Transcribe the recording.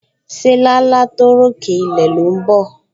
Se làálàá tó ròkè ilẹ̀ ló ń bọ̀?